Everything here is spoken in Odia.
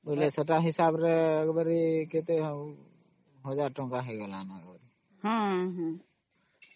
ବେଲେ ସେତ ହିସାବରେ ଆଉ କେତେ ଆଉ 1000 ଟଙ୍କା ହେଇଗଲା